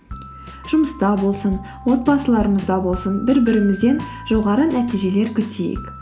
жұмыста болсын отбасыларымызда болсын бір бірімізден жоғары нәтижелер күтейік